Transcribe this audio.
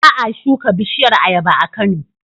Ba a shuka bishiyar ayaba a Kano,